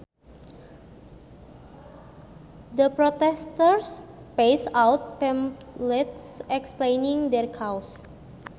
The protesters passed out pamphlets explaining their cause